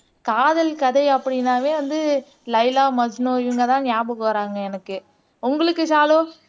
காதல் கதை அப்படின்னாவே வந்து லைலா மஜ்னு இவங்க தான் ஞாபகம் வாராங்க எனக்கு உங்களுக்கு ஷாலு